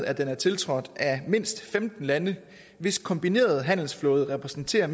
at den er tiltrådt af mindst femten lande hvis kombinerede handelsflåde repræsenterer